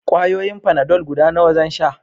Ƙwayoyin fanadol guda nawa zan sha?